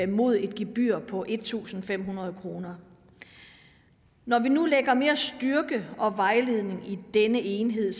mod et gebyr på en tusind fem hundrede kroner når vi nu lægger mere styrke og vejledning i denne enhed